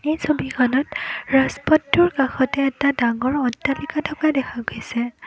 এই ছবিখনত ৰাজপথটোৰ কাষতে এটা ডাঙৰ অট্টালিকা থকা দেখা গৈছে।